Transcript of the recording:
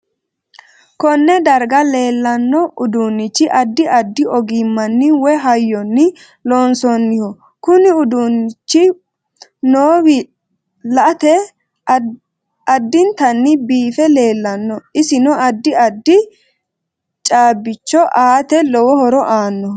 Konne darga leelanno uduunichi addi addi ogimanni woy hayyoni loonsooniho kunu uduu ichi noiwi la'ate addintanni biife leelanno isinno addi addi caabicho aate lowo horo aanoho